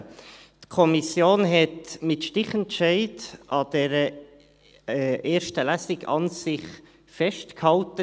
Die Kommission hat mit Stichentscheid an dieser ersten Lesung festgehalten.